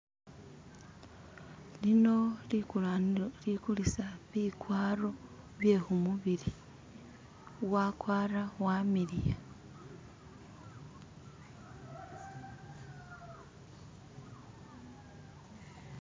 Lino likulanilo likulisa bikwaro bye kumubili, wakwara wamiliya